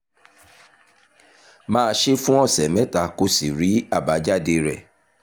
máa ṣe é fún ọ̀sẹ̀ mẹ́ta kó o sì rí àbájáde rẹ̀